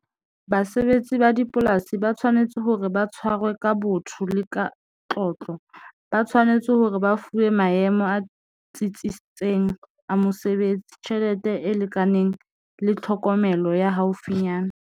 Basebetsi ba dipolasi ba tshwanetse hore ba tshwarwe ka botho le ka ba tshwanetse hore ba fuwe maemo a tsitsitseng a mosebetsi, tjhelete e lekaneng le tlhokomelo ya haufinyana.